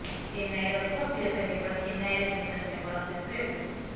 ଚେନ୍ନାଇର ଲୋକପ୍ରିୟତା କେବଳ ଚେନ୍ନାଇରେ ସୀମିତ ନୁହେଁ ବରଂ ଦେଶବ୍ୟାପୀ ରହିଛି